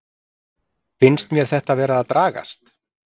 Finnst mér þetta vera að dragast?